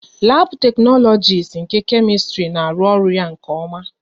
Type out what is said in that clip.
Labu teknologisi nke Kemistri na arụ ọrụ ya nke oma